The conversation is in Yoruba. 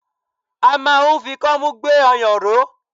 A máa ń fi kọ́mú gbé ọyàn ró.